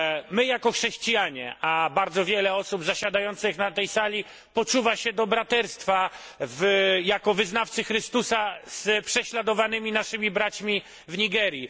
My jako chrześcijanie i bardzo wiele osób zasiadających na tej sali poczuwa się do braterstwa jako wyznawcy Chrystusa z prześladowanymi naszymi braćmi w Nigerii.